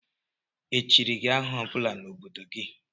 Echiri gị aha ọ bụla n' obodo gị?